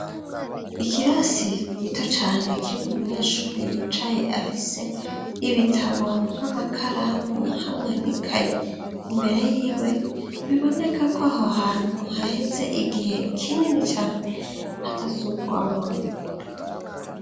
Ikirasi gito cane kiri mu munyeshure yicaye afise ibitabo n'amakaramu hamwe nikaye imbere yiwe biboneka ko aho hantu haheze igihe kinini cane hatasubirwamwo.